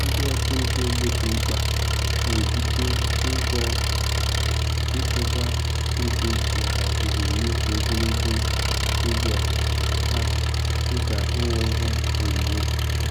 Ndị ọchụnta ego dị mkpa na-ebute ụzọ ichekwa ego maka ebumnuche ogologo oge ha, dịka inwe ihe onwunwe.